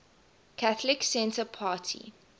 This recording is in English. catholic centre party